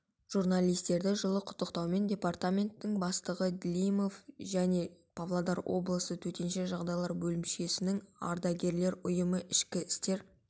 журналисттерді жылы құттықтауларымен департаментінің бастығы длимов және павлодар облысы төтенше жағдайлар бөлімшелерінің ардагерлер ұйымы ішкі істер